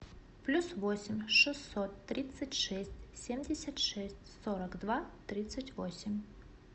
плюс восемь шестьсот тридцать шесть семьдесят шесть сорок два тридцать восемь